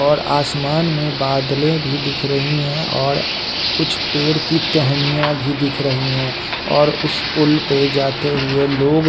और आसमान में बादलें भी दिख रही हैं और कुछ पेड़ की टहनियाँ भी दिख रही हैं और उस पुल पे जाते हुए लोग --